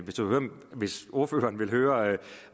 hvis enhedslistens ordfører vil høre